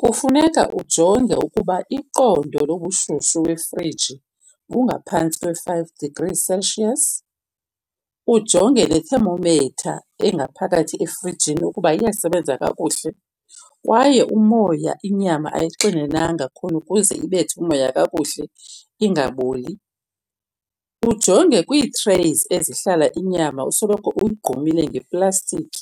Kufuneka ujonge ukuba iqondo lobushushu lwefriji bungaphantsi kwe-five degrees Celsius. Ujonge ne-thermometer engaphakathi efrijini ukuba iyasebenza kakuhle. Kwaye umoya inyama ayixinenanga khona ukuze ibethe umoya kakuhle ingaboli. Ujonge kwii-trays ezihlala inyama usoloko uyigqumile ngeplastiki